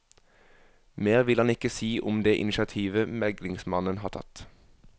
Mer vil han ikke si om det initiativet meglingsmannen har tatt.